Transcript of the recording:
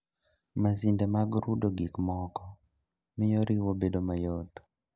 Masinde mag rudo gikmoko mio riwo bedo mayot